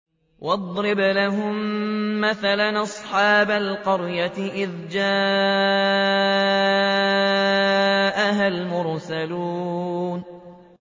وَاضْرِبْ لَهُم مَّثَلًا أَصْحَابَ الْقَرْيَةِ إِذْ جَاءَهَا الْمُرْسَلُونَ